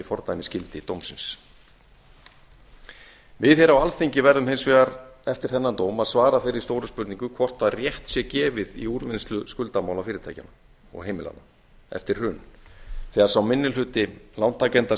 fordæmisgildi dómsins við á alþingi verðum hins vegar eftir þennan dóm að svara þeirri stóru spurningu hvort rétt sé gefið í úrvinnslu skuldamála fyrirtækjanna og heimilanna eftir hrunið þegar sá minni hluti lántakenda